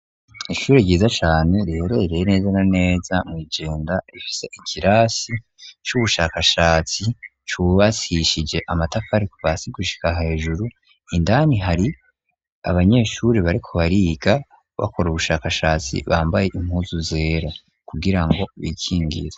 Ishuri ryiza cane riyorereye neza na neza mw'ijinda ifisa ikirasi c'ubushakashatsi cubasishije amatakariku ba si gushika hejuru indani hari abanyeshuri bariko bariga bakora ubushakashatsi bambaye impuzu zera kugira ngo bikingiza.